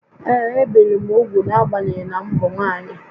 Ee, ebìri m úgwù n’agbanyeghị na m bụ nwaanyị